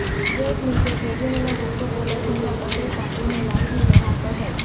gate નીચે કેબિનનો ભુક્કો બોલાઇ જતા પતરું કાપીને લાશને બહાર કઢાઇ